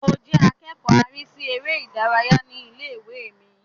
Mo jẹ́ akẹ́kọ̀ọ́ arísí eré ìdárayá ní ilé-ìwé mi